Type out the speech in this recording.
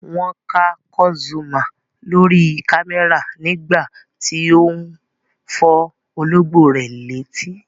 Wọ́n ká Kurt Zuoma lórí kámẹ́rà nígbà tí ó ń fọ́ olóńgbò rẹ̀ létí.